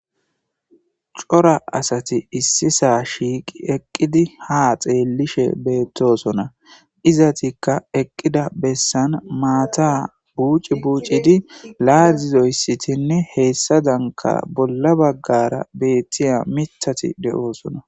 cora asati issisa shiiqi eqqidi ha xeellishe beettosona izatikka eqqida bessan maata buuci buucidi laazizoyssitinne heessadanka bolla baggara beettiya mitati betoosona